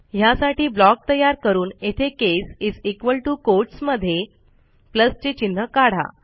ह्यासाठी ब्लॉक तयार करून येथे केस कोटस् मध्ये प्लस चे चिन्ह काढा